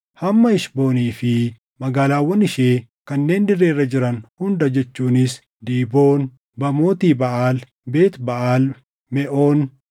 hamma Heshboonii fi magaalaawwan ishee kanneen dirree irra jiran hunda jechuunis Diiboon, Baamooti Baʼaal, Beet Baʼaal Meʼoon,